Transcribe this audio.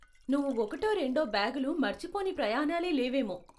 నువ్వు ఒకటో రెండో బ్యాగులు మరచిపోని ప్రయాణాలే లేవేమో.